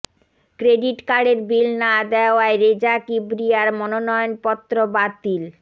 credit কার্ডের bill না দেওয়ায় রেজা কিবরিয়ার মনোনয়নপত্র বাতিল